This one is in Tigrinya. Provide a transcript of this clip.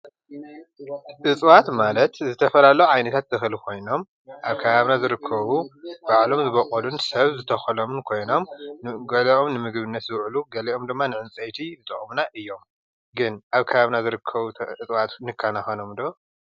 እፀዋት ማለት ዝተፈላለዩ ዓይነታት ተኽሊ ኾይኖም ኣብ ከባቢና ዝርከቡ ባዕሎም ዝበቖሉን ሰብ ዝተኸሎምን ኮይኖም ገሊኦም ንምግብነት ዝውዕሉ ገሊኦም ድማ ንዕንፀይቲ ዝጠቕሙና እዮም፡፡ ግን ኣብ ከባቢና ዝርከቡ ዕፀዋት ንካናኸኖም ዶ?